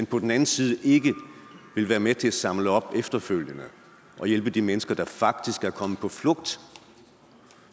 på den anden side ikke vil være med til at samle op efterfølgende og hjælpe de mennesker der faktisk er kommet på flugt